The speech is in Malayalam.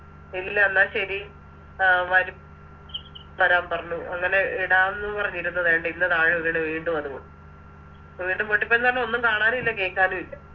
ഇല്ലന്ന ശരി അഹ് വരു വരാൻ പറഞ്ഞു അങ്ങനെ ഇടാന്ന് പറഞ്ഞിരിന്നത ദാണ്ടെ ഇന്ന് താഴെ വീണ് വീണ്ടും അത് പൊട്ടി വീണ്ടും പൊട്ടിപ്പോയിന്ന് പറഞ്ഞ ഒന്നും കാണാനും ഇല്ല കേക്കാനു ഇല്ല